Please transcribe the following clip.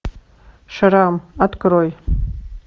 шрам открой